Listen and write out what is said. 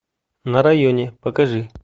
на районе покажи